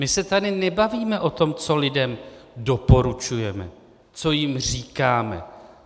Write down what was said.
My se tady nebavíme o tom, co lidem doporučujeme, co jim říkáme.